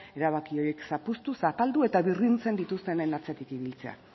erabaki horiek zapuztu zapaldu eta birrintzen dituztenen atzetik ibiltzea